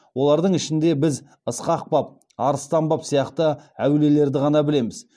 олардың ішінде біз ысқақ баб арыстан баб сияқты әулиелерді ғана білеміз